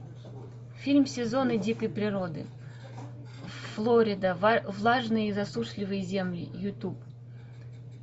фильм сезоны дикой природы флорида влажные и засушливые земли ютуб